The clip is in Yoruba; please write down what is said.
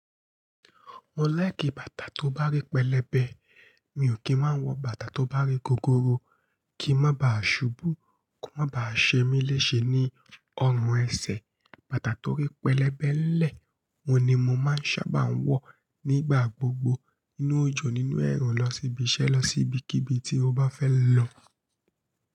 Mo like bàtà tó bá rí pẹlẹbẹ. Mi ò kí ń máa ń wọ bàtà tó bá rí gogoro kí i má ba à ṣubú, ki ó má ba à ṣe mí léṣe ní ọrùn ẹsẹ̀. Bàtà tó rí pẹlẹbẹ nlẹ oun ni mo máa ń sábà ń wọ ní igbà gbogbo nínú òjò, nínú ẹ̀rùn, lọ síbi iṣẹ́, lọ sí ibikíbi tí o bá fẹ́ lọ.